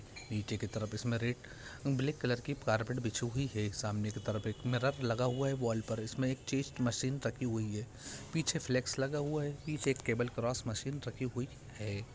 निचे की तरफ इसमे रेड ब्लैक कलार की कारपेट बिछी हुई है | सामने की तरफ एक मिरर लगा हुआ है वॉल पर | इसमे एक चेस्ट मशीन रखी हुई है | पीछे फ्लेक्स लगा हुआ है पीछे केबल क्रॉस मशीन रखी हुई है।